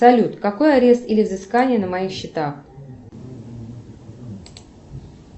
салют какой арест или взыскание на моих счетах